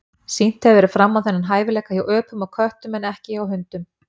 Sýnt hefur verið fram á þennan hæfileika hjá öpum og köttum en ekki hjá hundum.